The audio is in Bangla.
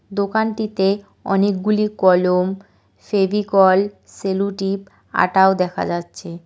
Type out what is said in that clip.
দোকানটিতে অনেকগুলি কলম ফেভিকল স্যালুটিপ আটাও দেখা যাচ্ছে।